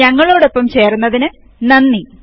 ഞങ്ങളോടൊപ്പം ചേർന്നതിന് നന്ദി